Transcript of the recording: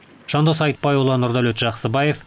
жандос айтбайұлы нұрдәулет жақсыбаев